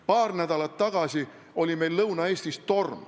Paar nädalat tagasi oli meil Lõuna-Eestis torm.